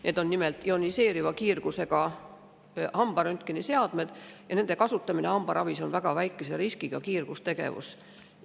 Need on nimelt ioniseeriva kiirgusega hambaröntgeniseadmed ja nende kasutamine hambaravis on väga väikese riskiga kiirgustegevus.